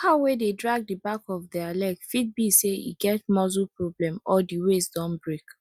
cow wey dey drag di back of dere leg fit be say e get muscle problem or di waist don break